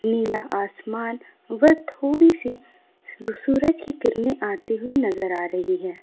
नीला आसमान व थोड़ी सी सूरज की किरणें आती हुई नजर आ रही है।